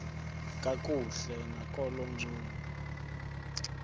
kakuhle nakolo ncumo